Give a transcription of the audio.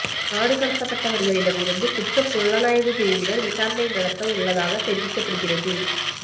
நாடு கடத்தப்பட்டவர்களிடமிருந்து குற்றப் புலனாய்வுப் பிரிவினர் விசாரணை நடத்த உள்ளதாகத் தெரிவிக்கப்படுகிறது